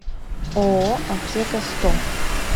ооо аптека сто